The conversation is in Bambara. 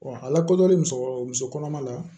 a lakodɔnnen musokɔrɔ muso kɔnɔma la